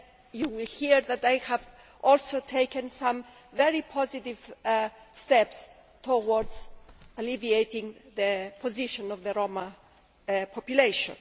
You will hear that I have also taken some very positive steps towards alleviating the position of the Roma population.